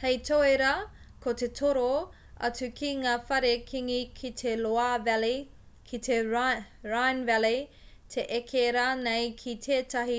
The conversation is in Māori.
hei tauira ko te toro atu ki ngā whare kīngi ki te loire valley ki te rhine valley te eke rānei ki tētahi